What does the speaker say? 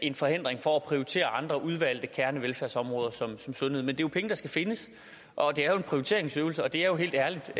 en forhindring for at prioritere andre udvalgte kernevelfærdsområder som sundhed men det er jo penge der skal findes og det er en prioriteringsøvelse og det er helt ærligt